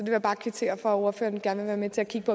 jeg bare kvittere for at ordføreren gerne være med til at kigge